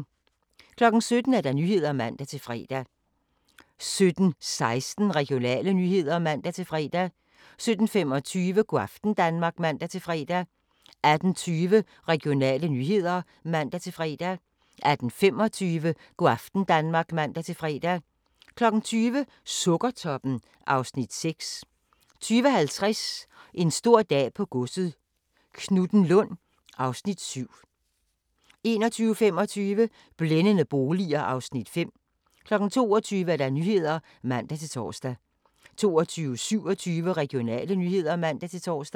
17:00: Nyhederne (man-fre) 17:16: Regionale nyheder (man-fre) 17:25: Go' aften Danmark (man-fre) 18:20: Regionale nyheder (man-fre) 18:25: Go' aften Danmark (man-fre) 20:00: Sukkertoppen (Afs. 6) 20:50: En stor dag på godset - Knuthenlund (Afs. 7) 21:25: Blændende boliger (Afs. 5) 22:00: Nyhederne (man-tor) 22:27: Regionale nyheder (man-tor)